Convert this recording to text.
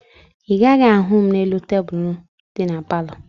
Ị gaghị ahụ m n'elu tebulu dị na palọ